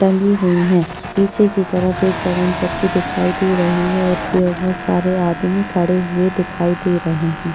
टंगी हुई है पीछे की तरफ एक पवन चक्की दिखाई दे रही है और सारे आदमी खड़े हुए दिखाई दे रहे है।